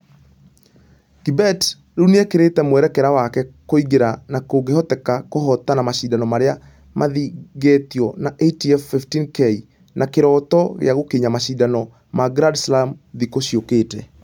Kibet ...rĩu nĩĩkerĩte mwerekera wake kũingĩra na kũngĩhoteka kũhotana mashidano marĩa mathongetio ma ITF 15k na kĩroto gĩa gũkinya mashidano ma grand slam thikũ ciokĩte.